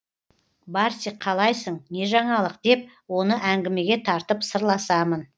барсик қалайсың не жаңалық деп оны әңгімеге тартып сырласамын